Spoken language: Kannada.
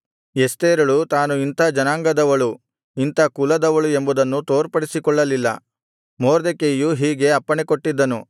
ಎಸ್ತೇರಳು ತಾನು ಇಂಥ ಜನಾಂಗದವಳು ಇಂಥ ಕುಲದವಳು ಎಂಬುದನ್ನು ತೋರ್ಪಡಿಸಿಕೊಳ್ಳಲಿಲ್ಲ ಮೊರ್ದೆಕೈಯು ಹೀಗೆ ಅಪ್ಪಣೆಕೊಟ್ಟಿದ್ದನು